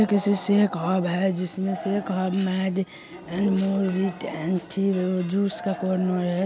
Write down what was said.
ये किसी shake hub है। जिसमें शेक हब ऐ। जूस का कॉर्नर हैं।